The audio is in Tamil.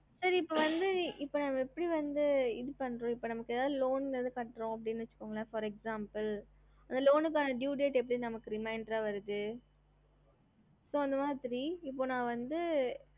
ஹம்